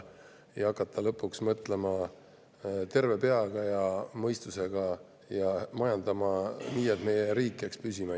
hakata lõpuks mõtlema terve peaga ja mõistusega ning majandama nii, et meie riik jääks püsima.